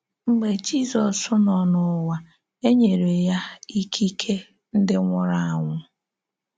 Mgbe Jizọs nọ n’ụ̀wà, e nyere ya ike ị̀kè ndị nwụrụ anwụ.